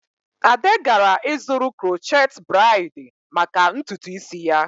Ade gara ịzụrụ crochet braid maka ntutu isi ya.